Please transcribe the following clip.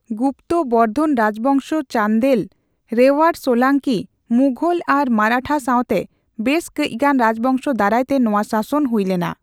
ᱜᱩᱯᱛᱚ, ᱵᱚᱨᱫᱷᱚᱱ ᱨᱟᱡᱽᱵᱚᱝᱥᱚ, ᱪᱟᱱᱫᱮᱞ, ᱨᱮᱣᱭᱟᱨ ᱥᱳᱞᱟᱝᱠᱤ, ᱢᱩᱜᱷᱚᱞ ᱟᱨ ᱢᱟᱨᱟᱴᱷᱟ ᱥᱟᱣᱛᱮ ᱵᱮᱥ ᱠᱟᱹᱪᱜᱟᱱ ᱨᱟᱡᱽᱵᱚᱝᱥᱚ ᱫᱟᱨᱟᱭ ᱛᱮ ᱱᱚᱣᱟ ᱥᱟᱥᱚᱱ ᱦᱩᱭᱞᱮᱱᱟ ᱾